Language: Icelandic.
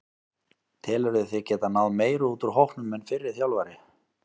Telurðu þig geta náð meiru út úr hópnum en fyrri þjálfari?